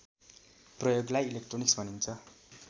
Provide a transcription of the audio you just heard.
प्रयोगलाई इलेक्ट्रोनिक्स भनिन्छ